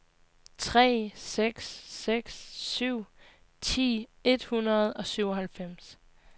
tre seks seks syv ti et hundrede og syvoghalvfems